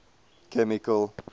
chemical